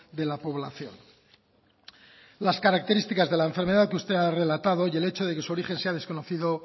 de la población las características de la enfermedad que usted ha relatado y el hecho de que su origen sea desconocido